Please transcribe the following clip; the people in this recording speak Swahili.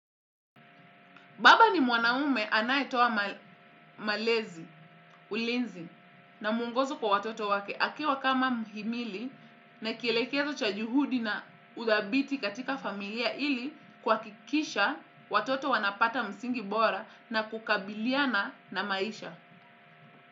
Baba ni mwanaume anayetoa malezi, ulinzi, na mwongozo kwa watoto wake. Akiwa kama muhimili na kielekezo cha juhudi na uthabiti katika familia ili kwa kuhakikisha watoto wanapata msingi bora na kukabiliana na maisha.